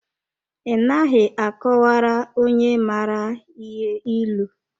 I naghị a kọwara onye mara ihe ịlụ.